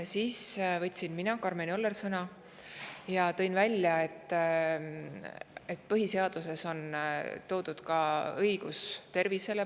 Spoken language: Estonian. Siis võtsin sõna mina, Karmen Joller, ja tõin välja, et põhiseaduses on toodud ka õigus tervise kaitsele.